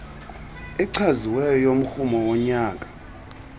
echaziweyo yomrhumo wonyaka